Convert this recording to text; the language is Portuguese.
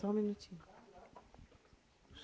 Só um minutinho.